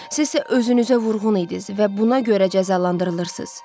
Siz isə özünüzə vurğun idiniz və buna görə cəzalandırılırsınız.